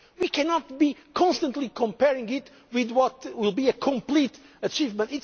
step by step. We cannot constantly compare it with what will be a complete